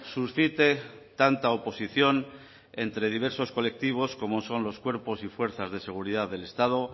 suscite tanta oposición entre diversos colectivos como son los cuerpos y fuerzas de seguridad del estado